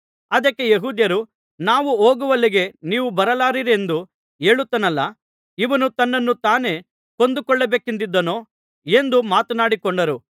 ಅದಕ್ಕೆ ಯೆಹೂದ್ಯರು ನಾವು ಹೋಗುವಲ್ಲಿಗೆ ನೀವು ಬರಲಾರಿರೆಂದು ಹೇಳುತ್ತಾನಲ್ಲಾ ಇವನು ತನ್ನನ್ನು ತಾನೇ ಕೊಂದುಕೊಳ್ಳಬೇಕೆಂದಿದ್ದಾನೋ ಎಂದು ಮಾತನಾಡಿಕೊಂಡರು